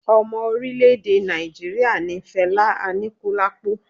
Ọmọ orilẹ-ede Naijiria ni Fela Anikulapo